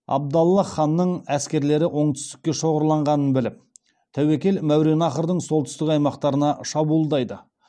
абдаллах ханның әскерлері оңтүстікке шоғырланғанын біліп тәуекел мәуереннахрдың солтүстік аймақтарына шабуылдайды